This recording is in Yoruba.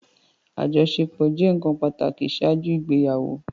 Ajọṣepọ jẹ nkan pataki ṣaaju igbeyawo